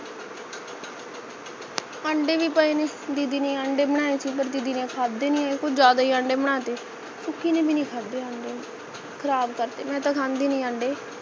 ਅੰਡੇ ਭੀ ਪਏ ਨੇ ਦੀਦੀ ਨੇ ਅੰਡੇ ਬਣਾਏ ਸੀ ਪਰ ਦੀਦੀ ਨੇ ਖਾਦੇ ਨਹੀਂ ਕੁਛ ਜ਼ਿਆਦਾ ਹੀ ਅੰਡੇ ਬਣਾ ਤੇ ਸੁਖੀ ਨੇ ਭੀ ਨਹੀਂ ਖਾਦੇ ਅੰਡੇ ਖ਼ਰਾਬ ਕਰਤੇ ਮੈਂ ਤਾਂ ਖਾਦੀ ਨਹੀਂ ਅੰਡੇ